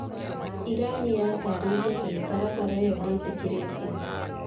Irani yatarĩirie atĩ mĩtaratara ĩyo ndĩtĩkĩrĩtio.